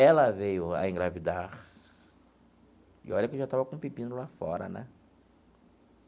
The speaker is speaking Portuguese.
Ela veio a engravidar e olha que eu já estava com um pepino lá fora, né?